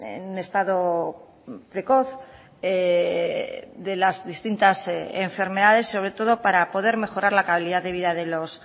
en un estado precoz de las distintas enfermedades sobre todo para poder mejorar la calidad de vida de los